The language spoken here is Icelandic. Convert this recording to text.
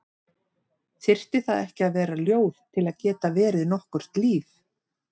Þyrfti það ekki að vera ljóð til að geta verið nokkurt líf?